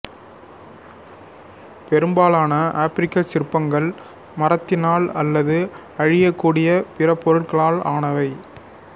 பெரும்பாலான ஆப்பிரிக்கச் சிற்பங்கள் மரத்தினால் அல்லது அழியக்கூடிய பிற பொருட்களால் ஆனவை